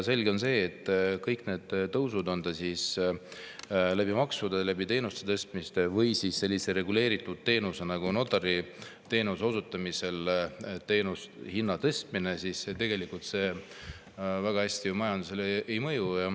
Selge on see, et kõik need tõusud, olgu maksudega või teenuste tasudega või siis sellise reguleeritud teenuse nagu notariteenuse osutamise eest tasu tõstmisega, tegelikult väga hästi majandusele ei mõju.